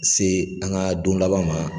Se an ŋa don laban ma